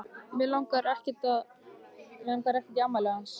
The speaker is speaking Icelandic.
Mig langar ekkert í afmælið hans.